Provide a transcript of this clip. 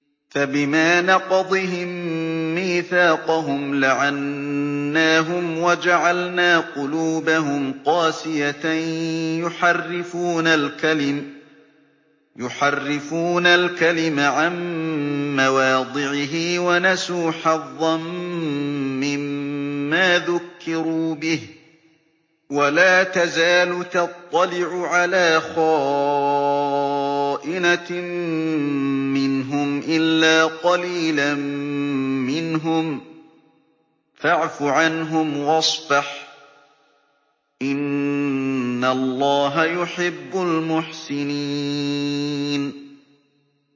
فَبِمَا نَقْضِهِم مِّيثَاقَهُمْ لَعَنَّاهُمْ وَجَعَلْنَا قُلُوبَهُمْ قَاسِيَةً ۖ يُحَرِّفُونَ الْكَلِمَ عَن مَّوَاضِعِهِ ۙ وَنَسُوا حَظًّا مِّمَّا ذُكِّرُوا بِهِ ۚ وَلَا تَزَالُ تَطَّلِعُ عَلَىٰ خَائِنَةٍ مِّنْهُمْ إِلَّا قَلِيلًا مِّنْهُمْ ۖ فَاعْفُ عَنْهُمْ وَاصْفَحْ ۚ إِنَّ اللَّهَ يُحِبُّ الْمُحْسِنِينَ